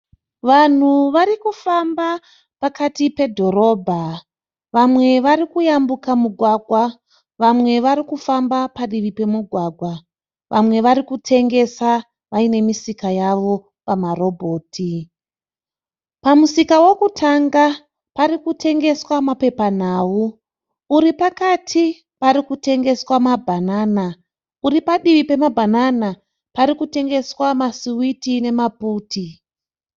Vanhu varikufamba pakati pedhorobha. Vamwe vari kuyambuka mugwagwa. Vamwe varikufamba padivi pemugwagwa. Vamwe vari kutengesa vaine misika yavo pamarobhoti. Pamusika wekutanga pari kutengeswa mapepanhau. Uri pakati parikutengeswa mabhanana. Uri parutivi pemabhanana pari kutengeswa masuwiti nemaputi.